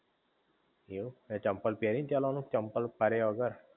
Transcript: એવું તે ચંપલ પેરી ન ચાલવાનું કે ચંપલ પર્યા વગર?